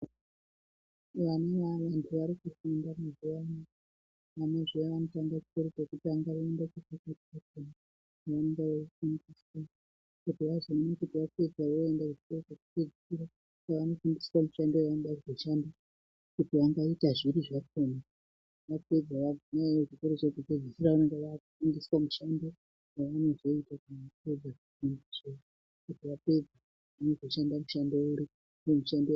Vantu varikufunda mazuwano vanoenda kuchikoro chekutanga voenda kuchikoro chechipiri kwavanenge veifundiswa kuti vazoone kuti vapedza vozoenda kuchikoro chekupedzisira kwavanofundiswa mishando yavanoda kuzoshanda kuti vangaita zviri zvakhona vapedza kuzvikora zvekupedzisira vanenge vakufundiswa mishandonyavanozoita kana vapedza kufunda kuti vapedza vanozoshanda mushando uri.